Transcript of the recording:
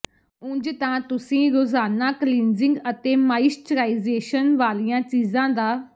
ਉਂਜ ਤਾਂ ਤੁਸੀਂ ਰੋਜ਼ਾਨਾ ਕਲੀਂਜਿੰਗ ਅਤੇ ਮਾਇਸ਼ਚਰਾਇਜੇਸ਼ਨ ਵਾਲੀਆਂ ਚੀਜ਼ਾਂ ਦਾ